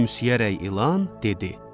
Gülümsəyərək ilan dedi.